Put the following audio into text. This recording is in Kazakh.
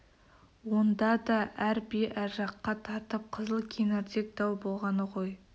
онда да әр би әр жаққа тартып қызыл кеңірдек дау болғаны ғой